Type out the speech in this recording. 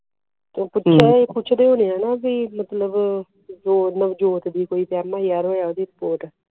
ਉਹ ਪੁੱਛਦੇ ਨੇ ਦੀ sport